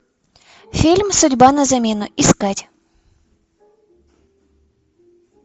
фильм судьба на замену искать